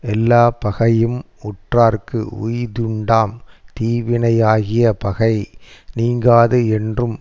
எல்லாப்பகையும் உற்றார்க்கு உய்தியுண்டாம் தீவினை யாகிய பகை நீங்காது என்றும்